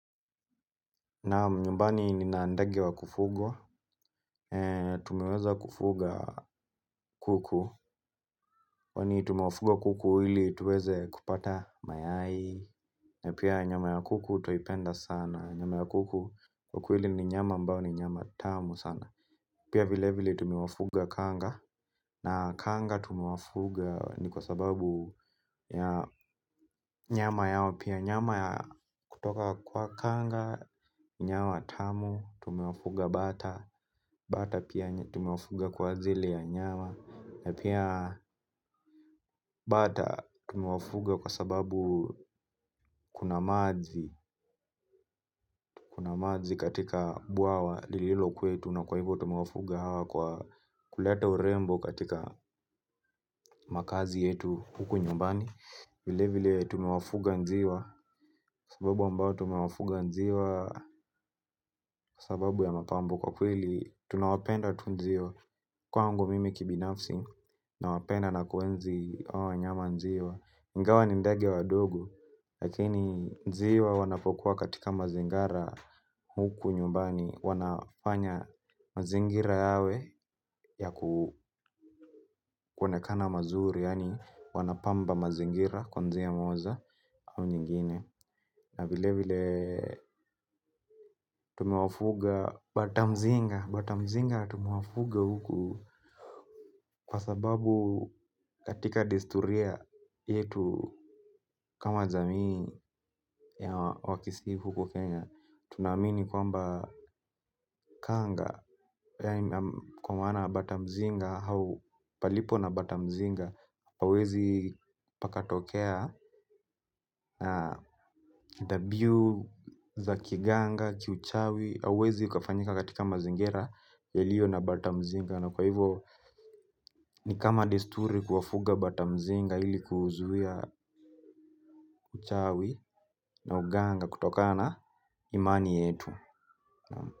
Naam nyumbani nina ndege wa kufugwa, tumeweza kufuga kuku, kwani tumewafuga kuku ili tuweze kupata mayai. Na pia nyama ya kuku twaipenda sana, nyama ya kuku kuku ili ni nyama ambayo ni nyama tamu sana. Pia vile vile tumewafuga kanga, na kanga tumewafuga ni kwa sababu ya nyama yao pia nyama ya kutoka kwa kanga. Nyama tamu, tumewafuga bata. Bata pia tumewafuga kwa a ajiri ya nyawa. Na pia bata tumewafuga kwa sababu kuna maji. Kuna mazi katika bwawa lililo kwetu na kwa hivo tumewafuga hawa kwa kuleta urembo katika makazi yetu huku nyumbani. Vile vile tumewafuga njiwa. Kwa sababu ambao tumewafuga njiwa kwa sababu ya mapambo kwa kweli tunawapenda tu njiwa. Kwangu mimi kibinafsi na wapenda na kuenzi haa nyama njiwa ingawa ni ndege wadogo. Lakini njiwa wanapokuwa katika mazingara huku nyumbani. Wanafanya mazingira yawe ya kuonekana mazuri. Yani wanapamba mazingira kwa njia moja au nyingine. Na vile vile tumewafuga batamzinga. Batamzinga tumwafuga huku kwa sababu katika desturia yetu kama jamii ya wakisi huku Kenya. Tunamini kwamba kanga kwa maana batamuzinga au palipo na batamuzinga hauwezi pakatokea dhabihu za kiganga, kiuchawi. Hauwezi ukafanyika katika mazingeia yaliyo na batamzinga. Na kwa hivyo ni kama desturi kuwafuga batamzinga ili kuuzuia uchawi na uganga kutokana imani yetu.